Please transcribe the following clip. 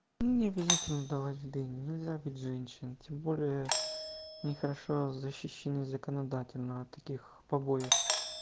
не обязательно давать в дыню нельзя бить женщин тем более ни хорошо защищены законодательно от таких побоев